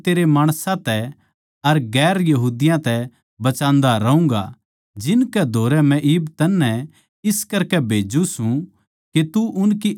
अर मै तन्नै तेरै माणसां तै अर दुसरी जात्तां तै बचान्दा रहूँगा जिनकै धोरै मै इब तन्नै इस करकै भेज्जू सूं